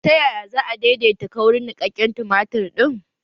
Ta yaya za a daidaita kaurin niƙaƙƙen tumatir ɗin?